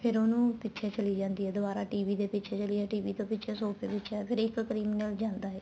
ਫ਼ੇਰ ਉਹਨੂੰ ਪਿੱਛੇ ਚੱਲੀ ਜਾਂਦੀ ਏ ਦੁਆਰਾ TV ਦੇ ਪਿੱਛੇ ਚੱਲੀ TV ਤੋ ਪਿੱਛੇ ਸੋਫ਼ੇ ਦੇ ਪਿੱਛੇ ਇੱਕ criminal ਜਾਂਦਾ ਏ